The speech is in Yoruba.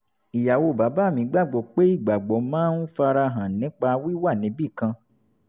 ìyàwó bàbá mi gbà gbọ́ pé ìgbàgbọ́ máa ń fara hàn nípa wíwà níbì kan